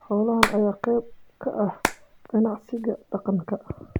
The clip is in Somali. Xoolahan ayaa qayb ka ah ganacsiga deegaanka.